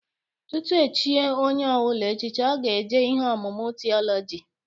Tutu echie onye ọbụla echichi, ọ ga-eje ihe ọmụmụ tiọlọji.